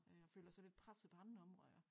Øh og føler sig lidt presset på andre områder